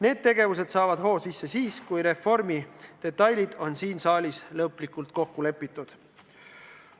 Need tegevused saavad hoo sisse siis, kui reformi detailides on siin saalis lõplikult kokku lepitud.